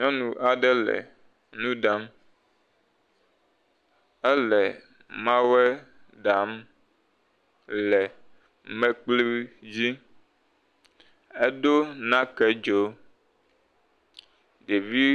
Nyɔnu aɖe le nu ɖam. Ele mawɔe ɖam le mekpli dzi. Edo nakedzo, ɖevi…